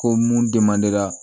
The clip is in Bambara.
Ko mun